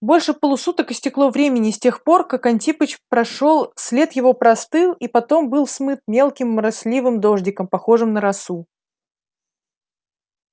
больше полусуток истекло времени с тех пор как антипыч прошёл след его простыл и потом был смыт мелким моросливым дождиком похожим на росу